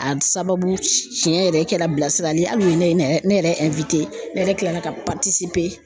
A sababu tiɲɛ yɛrɛ kɛra bilasirali ye hali u ye ne ne yɛrɛ ne yɛrɛ kilala ka